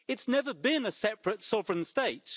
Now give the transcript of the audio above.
it is never been a separate sovereign state.